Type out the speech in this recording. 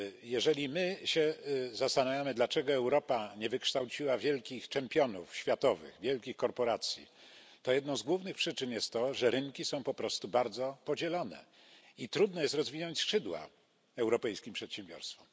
Jeżeli my się zastanawiamy, dlaczego Europa nie wykształciła wielkich championów światowych, wielkich korporacji, to jedną z głównych przyczyn jest to, że rynki są po prostu bardzo podzielone i trudno jest rozwinąć skrzydła europejskim przedsiębiorstwom.